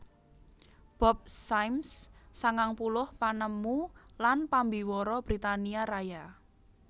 Bob Symes sangang puluh panemu lan pambiwara Britania Raya